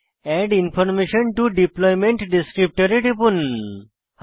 add information to deployment descriptor web XML এ টিপুন